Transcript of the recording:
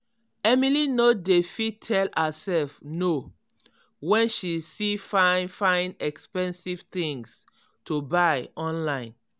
emily no dey fit tell herself "no" when she see fine fine expensive things to buy online.